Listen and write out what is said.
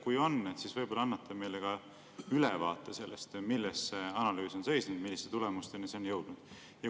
Kui on, siis võib-olla annate meile ka ülevaate sellest, milles see analüüs on seisnenud ja milliste tulemusteni see on jõudnud.